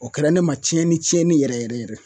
O kɛra ne ma tiɲɛni tiɲɛni yɛrɛ yɛrɛ yɛrɛ